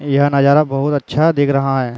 यह नज़ारा बहुत अच्छा दिख रहा है।